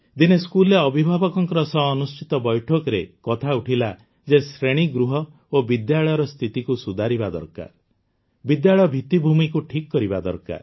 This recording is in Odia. ଦିନେ ସ୍କୁଲରେ ଅଭିଭାବକଙ୍କ ସହ ଅନୁଷ୍ଠିତ ବୈଠକରେ କଥା ଉଠିଲା ଯେ ଶ୍ରେଣୀଗୃହ ଓ ବିଦ୍ୟାଳୟର ସ୍ଥିତିକୁ ସୁଧାରିବା ଦରକାର ବିଦ୍ୟାଳୟ ଭିତ୍ତିଭୂମିକୁ ଠିକ୍ କରିବା ଦରକାର